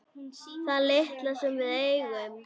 Það litla sem við eigum.